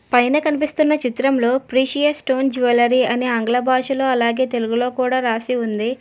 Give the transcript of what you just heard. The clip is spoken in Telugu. పైన కనిపిస్తున్న చిత్రంలో ప్రిషియస్ స్టోన్ జువెలరీ అనే ఆంగ్ల భాషలో అలాగే తెలుగులో కూడా రాసి ఉంది.